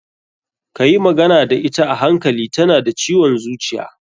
Ka yi magana da ita a hankali, ta na da ciwon zuciya.